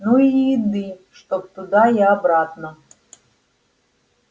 ну и еды чтоб туда и обратно